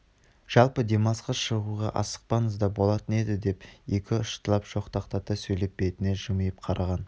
жалпы демалысқа шығуға асықпасаңыз да болатын еді деп екұштылау жортақтата сөйлеп бетіне жымиып қараған